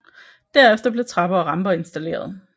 Derefter blev trapper og ramper installeret